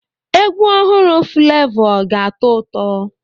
Egwu ọhụrụ Fulevo ga-atọ ụtọ.